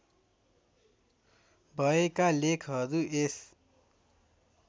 भएका लेखहरू यस